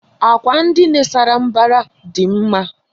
Àkwà ndina sárá mbara dị mma.